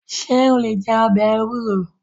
Ṣé o lè jẹ ọbẹ̀ ewúro?